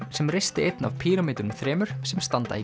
sem reisti einn af píramídunum þremur sem standa í